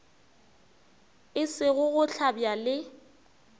e sego go hlabja le